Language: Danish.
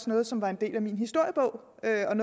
nogle som var en del af min historiebog